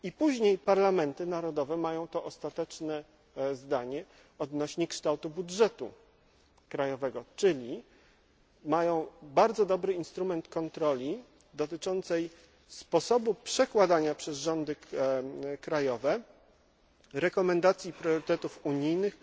Później parlamenty krajowe mają ostateczne zdanie odnośnie do kształtu budżetu krajowego, czyli mają bardzo dobry instrument kontroli sposobu przekładania przez rządy krajowe rekomendacji priorytetów unijnych